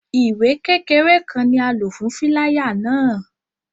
Iwe kekere kan ni a lo fun filaya náa